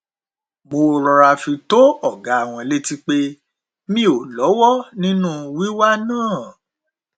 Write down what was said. mo rọra fi tó ọgá wọn létí pé mi ò lọwọ nínú wíwá náà